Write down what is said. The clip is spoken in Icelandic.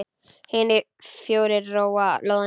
Hinir fjórir róa lóðina út.